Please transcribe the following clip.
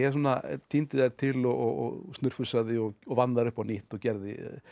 tíndi þær til og snurfusaði og vann þær upp á nýtt og gerði